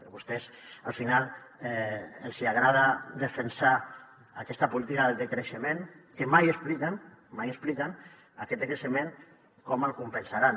a vostès al final els hi agrada defensar aquesta política del decreixement que mai expliquen mai expliquen aquest decreixement com el compensaran